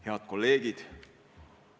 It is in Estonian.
Head kolleegid!